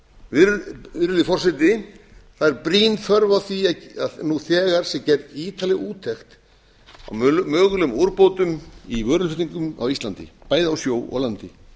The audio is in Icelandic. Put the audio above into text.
virðulegi forseti það er brýn þörf á því að þegar sé gerð ítarleg úttekt á mögulegum úrbótum í vöruflutningum á íslandi bæði á sjó og landi